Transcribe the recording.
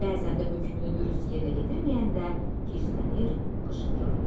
Bəzən də hökmünü dürüst yerinə yetirməyəndə hisslənir, qışqırırdı: